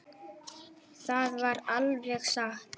Það var alveg satt.